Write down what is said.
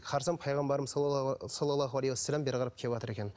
қарасам пайғамбарымыз салаллаху алейхи уассалам бері қарап келіватыр екен